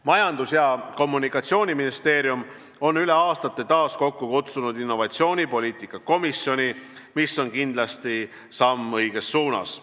Majandus- ja Kommunikatsiooniministeerium on üle aastate taas kokku kutsunud innovatsioonipoliitika komisjoni, mis on kindlasti samm õiges suunas.